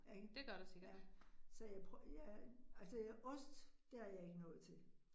Ikke, ja, så jeg jeg altså ost, der er jeg ikke noget til